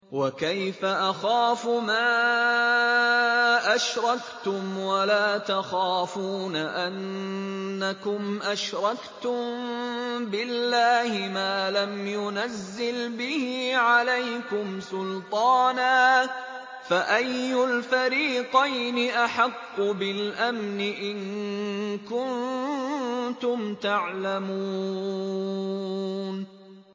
وَكَيْفَ أَخَافُ مَا أَشْرَكْتُمْ وَلَا تَخَافُونَ أَنَّكُمْ أَشْرَكْتُم بِاللَّهِ مَا لَمْ يُنَزِّلْ بِهِ عَلَيْكُمْ سُلْطَانًا ۚ فَأَيُّ الْفَرِيقَيْنِ أَحَقُّ بِالْأَمْنِ ۖ إِن كُنتُمْ تَعْلَمُونَ